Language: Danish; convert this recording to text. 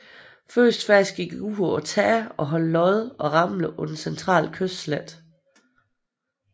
Første fase gik ud på at tage og holde Lod og Ramle på den centrale kystslette